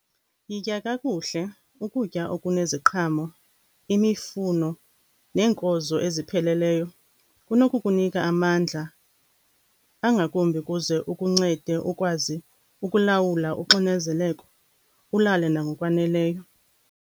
Yitya kakuhle ukutya okuneziqhamo, imifuno neenkozo ezipheleleyo. Kunokukunika amandla angakumbi ukuze ukuncede ukwazi ukulawula uxinzeleko, ulale nangokwaneleyo.